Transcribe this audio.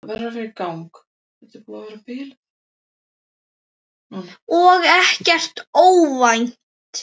Og ekkert óvænt.